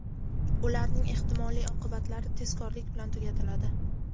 ularning ehtimoliy oqibatlari tezkorlik bilan tugatiladi.